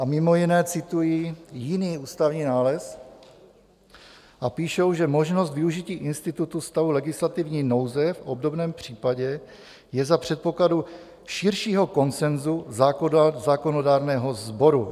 A mimo jiné citují jiný ústavní nález a píšou, že "možnost využití institutu stavu legislativní nouze v obdobném případě je za předpokladu širšího konsenzu zákonodárného sboru".